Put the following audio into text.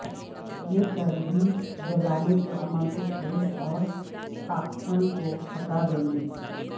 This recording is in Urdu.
یہ چربی جلانے کے عمل کو تیز اور ٹاکسن کو ہٹا دیں گے